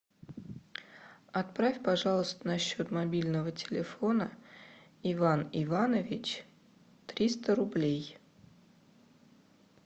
отправь пожалуйста на счет мобильного телефона иван иванович триста рублей